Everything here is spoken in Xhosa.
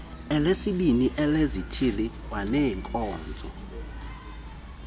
elesibini elezithili kwaneenkonzo